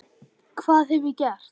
Hvað hef ég gert?.